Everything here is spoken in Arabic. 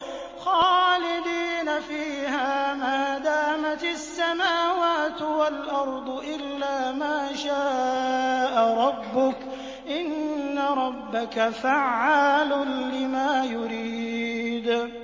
خَالِدِينَ فِيهَا مَا دَامَتِ السَّمَاوَاتُ وَالْأَرْضُ إِلَّا مَا شَاءَ رَبُّكَ ۚ إِنَّ رَبَّكَ فَعَّالٌ لِّمَا يُرِيدُ